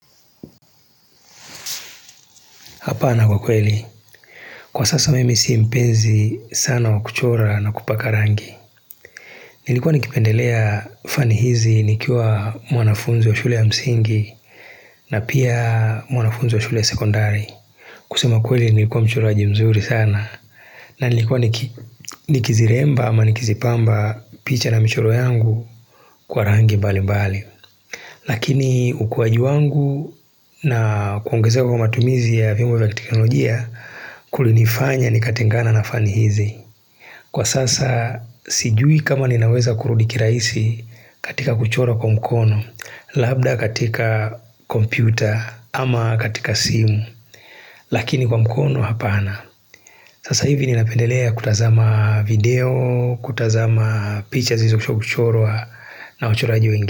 Hapana kwa kweli, kwa sasa mimi si mpenzi sana wa kuchora na kupaka rangi Nilikuwa nikipendelea fani hizi nikiwa mwanafunzi wa shule ya msingi na pia mwanafunzi wa shule sekondari kusema kweli nilikuwa mchoroji mzuri sana na nilikuwa nikiziremba ama nikizipamba picha na michoro yangu kwa rangi mbali mbali Lakini ukuwaji wangu na kuongezewa kwa matumizi ya vyombo vya kiteknolojia kulinifanya nikatengana na fani hizi. Kwa sasa sijui kama ninaweza kurudi kirahisi katika kuchora kwa mkono, labda katika kompyuta ama katika simu. Lakini kwa mkono hapana. Sasa hivi ninapendelea kutazama video, kutazama picha zilizo kuchorwa na wachoraji wengine.